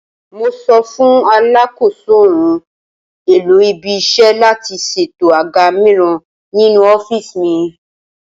Mo sọ fún Alakoso ohun-èlò ibi-iṣẹ́ láti ṣètò àga mìíràn ninú ọ́fíìsì mi.